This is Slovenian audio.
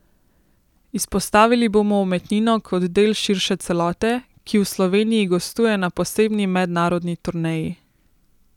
Izpostavili bomo umetnino kot del širše celote, ki v Sloveniji gostuje na posebni mednarodni turneji.